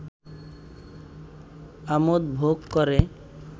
আমোদ ভোগ করে